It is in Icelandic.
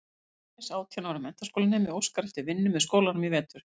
Eldhress átján ára menntaskólanemi óskar eftir vinnu með skólanum í vetur.